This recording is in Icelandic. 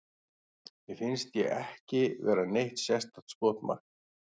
Mér finnst ég ekki vera neitt sérstakt skotmark.